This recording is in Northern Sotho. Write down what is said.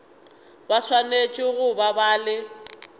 ba swanetše go ba le